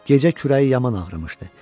Gecə kürəyi yaman ağrımışdı.